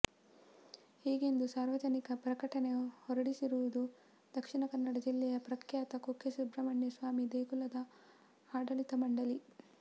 ಹೀಗೆಂದು ಸಾರ್ವಜನಿಕ ಪ್ರಕಟಣೆ ಹೊರಡಿಸಿರುವುದು ದಕ್ಷಿಣ ಕನ್ನಡ ಜಿಲ್ಲೆಯ ಪ್ರಖ್ಯಾತ ಕುಕ್ಕೆ ಸುಬ್ರಮಣ್ಯ ಸ್ವಾಮಿ ದೇಗುಲದ ಆಡಳಿತ ಮಂಡಳಿ